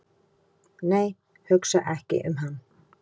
"""nei, hugsa ekki um hann!"""